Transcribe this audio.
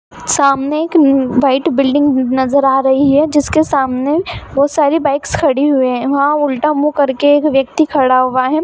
सामने एक new white building नजर आ रही है जिसके सामने बहुत सारी बाइक्स खड़ी हुई है वहाँ उल्टा मुँह कर के एक व्यक्ति खड़ा हुआ है।